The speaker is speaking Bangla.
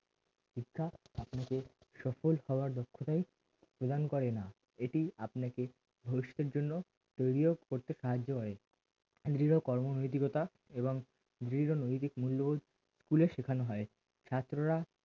সফল হওয়ার দক্ষতায় প্রদান করে দৃঢ় কর্মনৈতিকতা এবং দৃঢ় নৈতিক মুল্যবোধ school এ শেখানো হয় ছাত্ররা